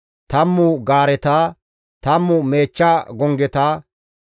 tammu gaareta, tammu meechcha gonggeta,